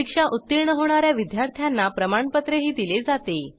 परीक्षा उत्तीर्ण होणा या विद्यार्थ्यांना प्रमाणपत्रही दिले जाते